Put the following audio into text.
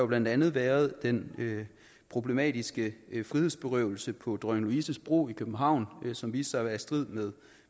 blandt andet været den problematiske frihedsberøvelse på dronning louises bro i københavn som viste sig at være i strid med